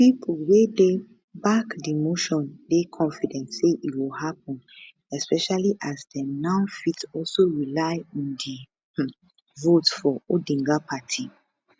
pipo wey dey back di motion dey confident say e go happun especially as dem now fit also rely on di um votes for odinga party